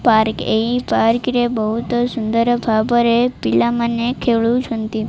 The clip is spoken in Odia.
ପାର୍କ ଏହି ପାର୍କରେ ବହୁତ୍ ସୁନ୍ଦର୍ ଭାବରେ ପିଲାମାନେ ଖେଳୁଛନ୍ତି ।